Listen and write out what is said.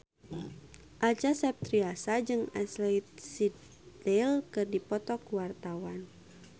Acha Septriasa jeung Ashley Tisdale keur dipoto ku wartawan